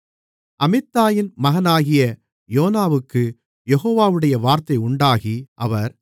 அமித்தாயின் மகனாகிய யோனாவுக்குக் யெகோவாவுடைய வார்த்தை உண்டாகி அவர்